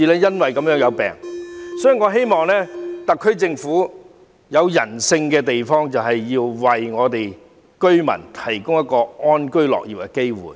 因此，我希望特區政府能採取人性化的做法，為這些居民提供安居樂業的機會。